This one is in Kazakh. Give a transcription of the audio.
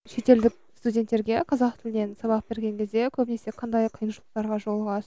шетелдік студенттерге қазақ тілінен сабақ берген кезде көбінесе қандай қиыншылықтарға